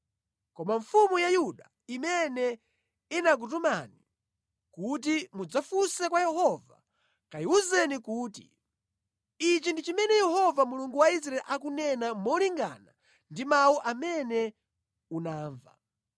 Koma mfumu ya Yuda imene inakutumani kuti mudzafunse kwa Yehova kayiwuzeni kuti, ‘Ichi ndi chimene Yehova Mulungu wa Israeli akunena molingana ndi mawu amene unamva: